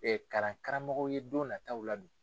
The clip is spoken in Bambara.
kalankaramɔgɔw ye don nataw la dun.